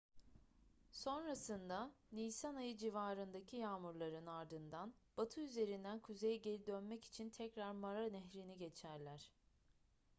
sonrasında nisan ayı civarındaki yağmurların ardından batı üzerinden kuzeye geri dönmek için tekrar mara nehrini geçerler